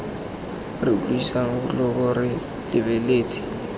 re utlwisang botlhoko re lebeletse